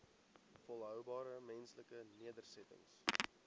volhoubare menslike nedersettings